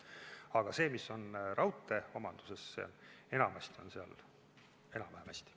Aga seal, kus on raudtee omandus, on enamasti enam-vähem hästi.